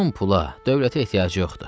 Onun pula, dövlətə ehtiyacı yoxdur.